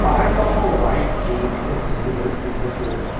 part of a white gate is visible in the photo.